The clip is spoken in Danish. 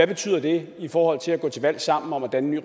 betyder det i forhold til at gå til valg sammen om at danne